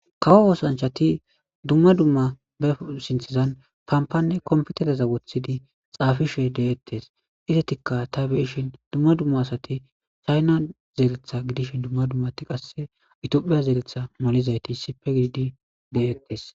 Kawo oosanchati dumma dumma beu sinthizan pampanne kompitereza wothidi xaafishe de7ettes izetikka ta beishin dumma dumma asati chayna zeeletha gidishin dumma dummati qasse itiophiya zeletha molizayti sipe giidi de7ettes